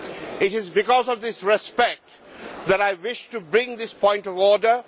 It is because of this respect that I wish to bring this point of order.